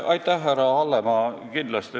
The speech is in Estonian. Aitäh, härra Hallemaa!